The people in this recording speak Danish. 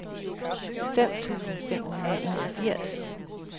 fem tusind fem hundrede og enogfirs